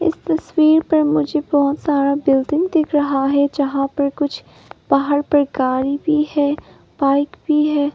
इस तस्वीर पर मुझे बहुत सारा बिल्डिंग दिख रहा है जहां पर कुछ पहाड़ पर गाड़ी भी है बाइक भी है।